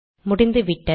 முடிந்துவிட்டது